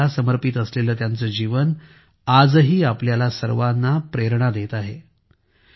मानवतेला समर्पित असलेले त्यांचे जीवन आजही आपल्या सर्वांना प्रेरणा देत आहे